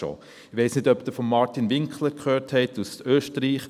Ich weiss nicht, ob Sie von Martin Winkler gehört haben, aus Österreich.